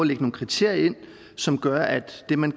lægge nogle kriterier ind som gør at det man